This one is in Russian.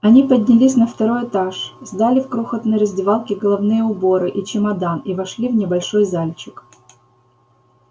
они поднялись на второй этаж сдали в крохотной раздевалке головные уборы и чемодан и вошли в небольшой зальчик